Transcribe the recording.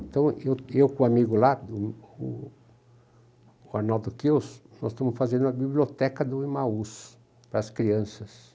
Então, eu eu com o amigo lá, do o Arnaldo Kiel, nós estamos fazendo a biblioteca do Imaús para as crianças.